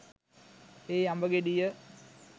ඒ අඹ ගෙඩිය